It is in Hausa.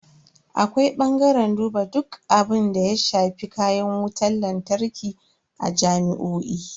Akwai bangaren duba duk abunda ya shafi kayan wutan lantarki a jami'o'i.